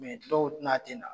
dɔw n'a tɛ na.